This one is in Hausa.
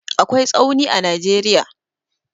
akwai tsauni a nageria